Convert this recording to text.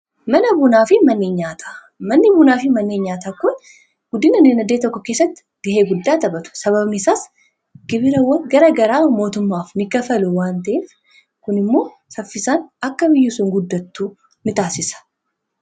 Manni bunaafi manneen nyaataa kun guddina diinagdee tokko keessatti gahee guddaa taphatu sababni isaas gibirawwan gara garaa mootummaaf ni kaffalu waan ta'eef kun immoo saffisaan akka biyyi sun guddattu ni taasisa.